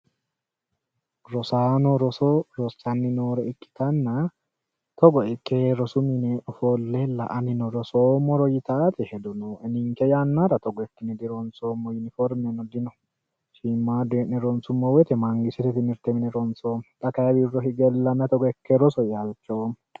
Rosaano roso rossanni noore ikkitanna togo ikke rosu mine Ofolle anino rosoomoro yitanno hedo nooe ninike yannata togo ikkine dironisoomo yiniforimeno dino shiimaadu he'ne ronisummo woyite manigisitete timirite mine ronsoomo. Xa kayi wirro hige woyi togo ikke roso yee halichoomo